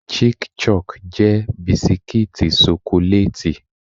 Chic-Choc jẹ́ bisikítì ṣokolátì.